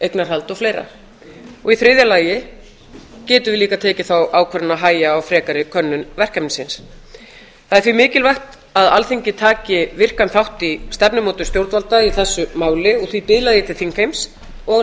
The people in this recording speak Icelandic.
eignarhald og fleiri þriðju þá getum við líka tekið þá ákvörðun að hægja á frekari könnun verkefnisins það er því mikilvægt að alþingi taki virkan þátt í stefnumótun stjórnvalda í þessu máli og því biðla ég til þingheims og